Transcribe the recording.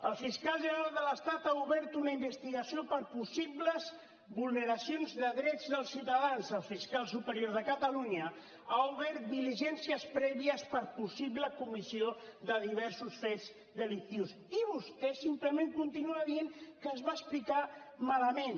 el fiscal general de l’estat ha obert una investigació per possibles vulneracions de drets dels ciutadans el fiscal superior de catalunya ha obert diligències prèvies per possible comissió de diversos fets delictius i vostè simplement continua dient que es va explicar malament